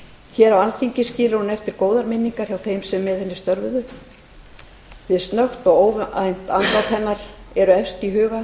hér á alþingi skilur hún eftir góðar minningar hjá þeim sem með henni störfuðu við snöggt og óvænt andlát hennar eru efst í huga